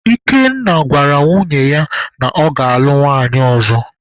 Ikenna gwara nwunye ya na ya ga-alụ nwanyị ọzọ.